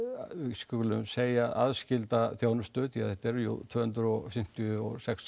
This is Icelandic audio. skulum segja aðskilda þjónustu þetta eru jú tvö hundruð fimmtíu og sex